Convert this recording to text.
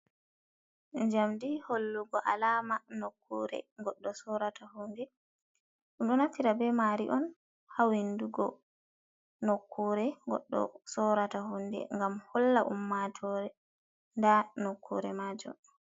Jamdi hollugo alama nokkure ,goddo sorata hunde do nafira be mari on hawindugo nokkure goddo sorata hunde gam holla ummato da nokkure majum.